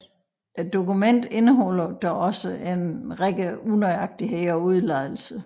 Dokumentet indeholder dog også en række unøjagtigheder og udeladelser